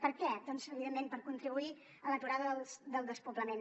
per què doncs evidentment per contribuir a l’aturada del despoblament